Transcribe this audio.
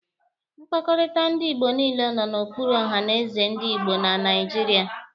Mkpakọrịta ndị Igbo niile nọ n'okpuru ohanézè ndị Igbo na Naijiria.